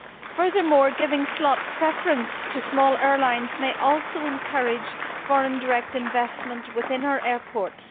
Furthermore, giving slot preference to small airlines may also encourage foreign direct investment within our airports.